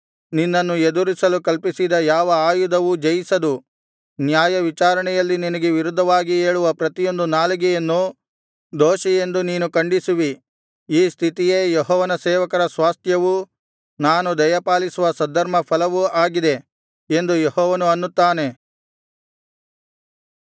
ನಿನ್ನನ್ನು ಎದುರಿಸಲು ಕಲ್ಪಿಸಿದ ಯಾವ ಆಯುಧವೂ ಜಯಿಸದು ನ್ಯಾಯವಿಚಾರಣೆಯಲ್ಲಿ ನಿನಗೆ ವಿರುದ್ಧವಾಗಿ ಏಳುವ ಪ್ರತಿಯೊಂದು ನಾಲಿಗೆಯನ್ನು ದೋಷಿಯೆಂದು ನೀನು ಖಂಡಿಸುವಿ ಈ ಸ್ಥಿತಿಯೇ ಯೆಹೋವನ ಸೇವಕರ ಸ್ವಾಸ್ತ್ಯವೂ ನಾನು ದಯಪಾಲಿಸುವ ಸದ್ಧರ್ಮಫಲವೂ ಆಗಿದೆ ಎಂದು ಯೆಹೋವನು ಅನ್ನುತ್ತಾನೆ